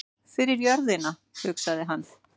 Fyrir jörðina, hugsaði hann.